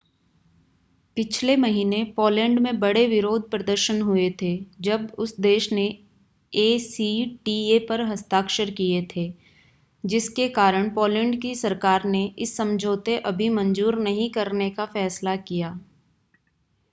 पिछले महीने पोलैंड में बड़े विरोध प्रदर्शन हुए थे जब उस देश ने एसीटीए पर हस्ताक्षर किए थे जिसके कारण पोलैंड की सरकार ने इस समझौते अभी मंजूर नहीं करने का फैसला किया है